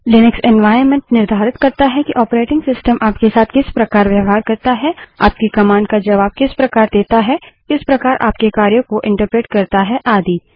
Linux environment निर्धारित करता है कि ऑपरेटिंग सिस्टम आपके साथ किस प्रकार व्यवहार करता है आपकी कमांड का जबाब किस प्रकार देता है किस प्रकार आपके कार्यों को एंटरप्रेट करता है आदि